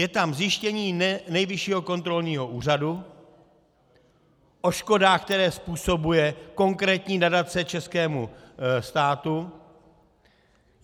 Je tam zjištění Nejvyššího kontrolního úřadu o škodách, které způsobuje konkrétní nadace českému státu.